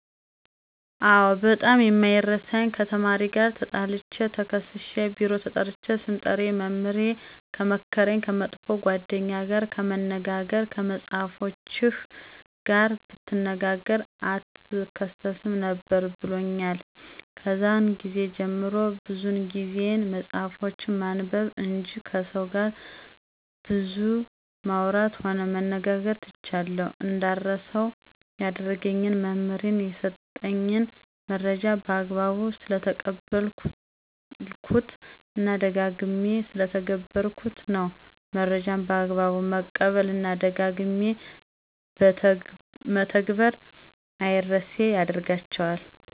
አዎ ! በጣም የማይረሳኝ ከተማሪ ጋር ተጣልቸ ተከሠስሸ ቢሮ ተጠርቸ ስምጠሪ መምህሬ የመከረኝ። ከመጥፎ ጓደኛ ጋር ከመነጋገር ከመፅሐፎችህ ጋር ብትነጋገ አትከሠስም ነበር ብሎኛል። ከዛን ግዜ ጀምሬ ብዙ ጊዜየን መፅሐፎችን በማንበብ እንጅ ከሠው ጋር ብዙ ማውራትም ሆነ መነጋገር ትቻለሁ። እንዳረሳው ያደረገኝ መምህሬ የሠጠኝን መረጃ በአግባቡ ስለተቀበልሁት እና ደጋግሜ ስለተገበርሁት ነው። መረጃን በአግባቡ መቀበል እና ደጋግሞ በተግበር አምረሴ ያደርጋቸዋል።